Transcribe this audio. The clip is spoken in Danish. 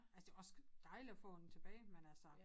Altså det var også dejligt at få den tilbage men altså